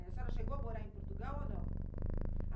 A senhora chegou a morar em Portugal ou não?